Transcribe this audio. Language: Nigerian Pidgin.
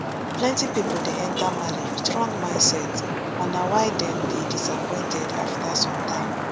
plenti pipo dey enta marriage wit wrong mindset and na why dem dey disappointed afta sometime